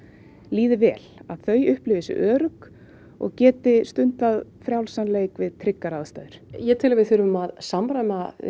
líði vel að þau upplfifi sig örugg og geti stundað frjálsan leik við tryggar aðstæður ég tel að við þurfum að samræma